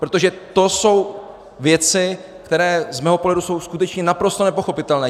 Protože to jsou věci, které z mého pohledu jsou skutečně naprosto nepochopitelné.